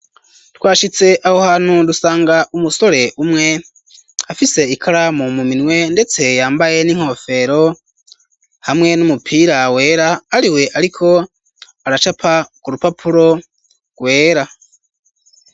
Twashitse aho hantu, dusanga umusore umwe afise ikaramu mu minwe, ndetse yambaye n'inkofero hamwe n'umupira wera, ariwe ariko aracapa ku rupapuro rwera.